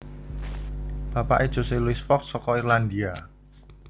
Bapaké Jose Luis Fox saka Irlandia